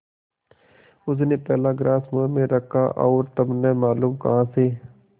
उसने पहला ग्रास मुँह में रखा और तब न मालूम कहाँ से